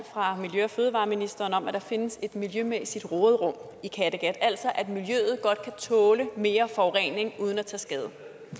fra miljø og fødevareministeren om at der findes et miljømæssigt råderum i kattegat altså at miljøet godt kan tåle mere forurening uden at tage skade